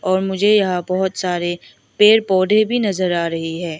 और मुझे यहां बहोत सारे पेड़ पौधे भी नजर आ रही है।